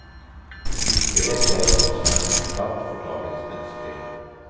Ikke vet jeg hva som er en skatt for dagens mennesker.